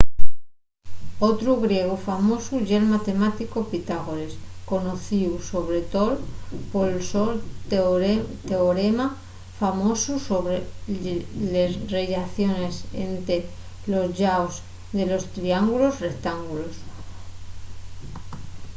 otru griegu famosu ye’l matemáticu pitágores conocíu sobre too pol so teorema famosu sobre les rellaciones ente los llaos de los triángulos rectángulos